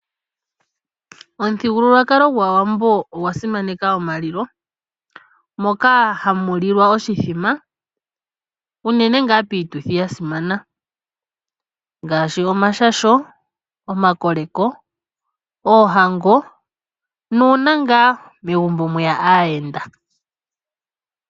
Omuthigululwakalo gwaAawambo ogwa simaneka omalilo moka hamu lilwa oshithima uunene ngaa piituthi ya simana ngaashi omashasho, omakoleko, oohango nuuna ngaa megumbo mweya aayenda.